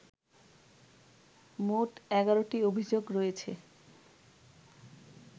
মোট ১১টি অভিযোগ রয়েছে